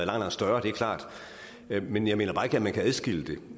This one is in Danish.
langt større det er klart men jeg mener bare ikke at man kan adskille det